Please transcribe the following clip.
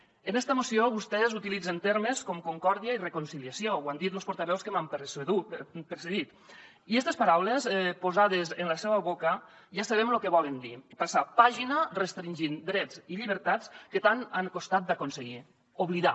en esta moció vostès utilitzen termes com concòrdia i reconciliació ho han dit los portaveus que m’han precedit i estes paraules posades en la seua boca ja sabem lo que volen dir passar pàgina restringir drets i llibertats que tant han costat d’aconseguir oblidar